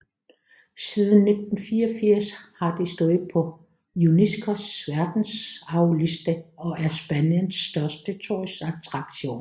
Siden 1984 har det stået på UNESCOs verdensarvliste og er Spaniens største turistattraktion